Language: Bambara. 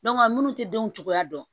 minnu tɛ denw cogoya dɔn